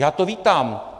Já to vítám.